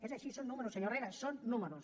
és així són números senyor herrera són números